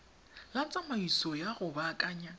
la tsamaiso ya go baakanya